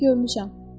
Görmüşəm.